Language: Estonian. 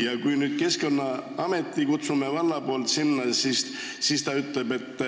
Ja kui vald nüüd kutsub Keskkonnaameti sinna kohale, siis nad ütlevad, et